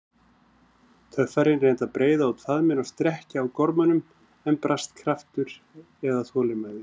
Töffarinn reyndi að breiða út faðminn og strekkja á gormunum, en brast kraftur eða þolinmæði.